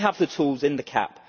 They have the tools in the CAP.